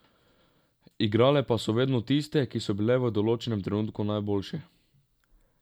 Igrale pa so vedno tiste, ki so bile v določenem trenutku najboljše.